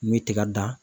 N'i ye tiga dan